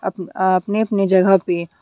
Up आपनी अपनी जगह पे।